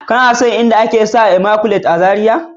ka na son in da a ke sha a " immaculate" otal a zarai?